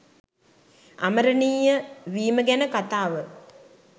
අමරණීය වීම ගැන කතාව